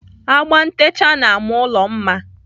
Agba ntecha na-ama ụlọ mma.